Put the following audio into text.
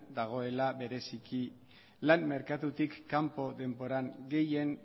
dagoela bereziki lan merkatutik kanpo denbora gehien